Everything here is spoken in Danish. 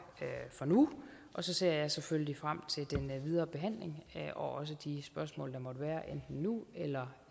for nu og så ser jeg selvfølgelig frem til den videre behandling og også de spørgsmål der måtte være enten nu eller